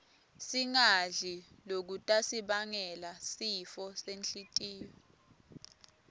singadli lokutasibangela sifo senhltiyo